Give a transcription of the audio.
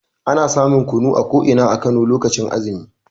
Ana samun kunu a ko ina a Kano lokacin azumi.